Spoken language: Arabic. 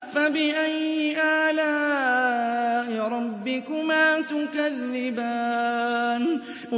فَبِأَيِّ آلَاءِ رَبِّكُمَا تُكَذِّبَانِ